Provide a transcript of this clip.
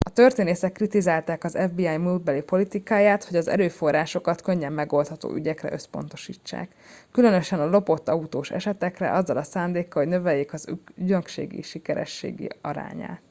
a történészek kritizálták az fbi múltbeli politikáját hogy az erőforrásokat könnyen megoldható ügyekre összpontosítják különösen a lopott autós esetekre azzal a szándékkal hogy növeljék az ügynökség sikerességi arányát